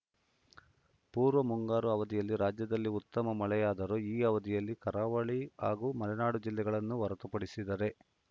ಪೂರ್ವ ಮುಂಗಾರು ಅವಧಿಯಲ್ಲಿ ರಾಜ್ಯದಲ್ಲಿ ಉತ್ತಮ ಮಳೆಯಾದರೂ ಈ ಅವಧಿಯಲ್ಲಿ ಕರಾವಳಿ ಹಾಗೂ ಮಲೆನಾಡು ಜಿಲ್ಲೆಗಳನ್ನು ಹೊರತುಪಡಿಸಿದರೆ